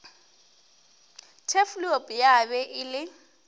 turfloop ya be e le